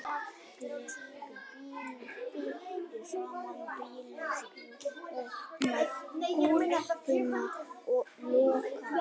Ég heyri þegar pabbi leggur bílnum fyrir framan bílskúrinn, opnar hurðina og lokar.